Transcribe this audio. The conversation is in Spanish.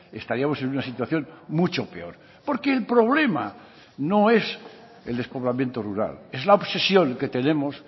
estaríamos en una situación mucho peor porque el problema no es el despoblamiento rural es la obsesión que tenemos